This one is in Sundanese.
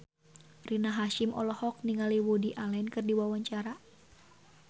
Rina Hasyim olohok ningali Woody Allen keur diwawancara